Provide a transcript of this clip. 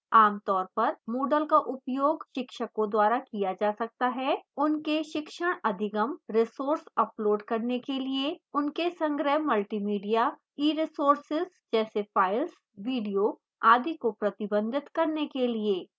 आमतौर पर moodle का उपयोग शिक्षकों द्वारा किया जा सकता है